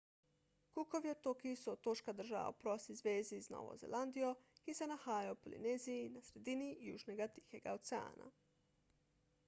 cookovi otoki so otoška država v prosti zvezi z novo zelandijo ki se nahajajo v polineziji na sredini južnega tihega oceana